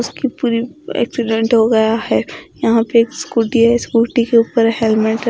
उसकी पूरी एक्सीडेंट हो गया है यहां पे एक स्कूटी है स्कूटी के ऊपर हेलमेट र--